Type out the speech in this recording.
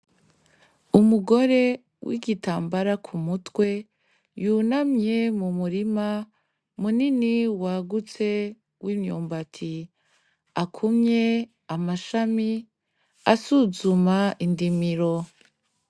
Umugore n'igitambara ku mutwe yunamye mu murima munini wagutse w'imyumbati, akumye amashami asuzuma indimiro.